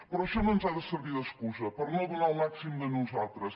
però això no ens ha de servir d’excusa per no donar el màxim de nosaltres